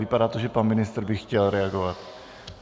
Vypadá to, že pan ministr by chtěl reagovat.